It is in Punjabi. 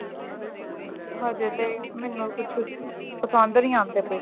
ਹਜੇ ਤੇ ਮੈਨੂੰ ਕੁੱਛ ਪਸੰਦ ਨੀ ਆਂਦੇ ਪਏ